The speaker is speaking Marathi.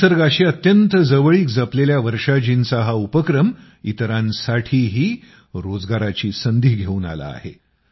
निसर्गाशी अत्यंत जवळीक जपलेल्या वर्षाजींचा हा उपक्रम इतरांसाठीही रोजगाराची संधी घेऊन आला आहे